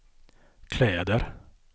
kläder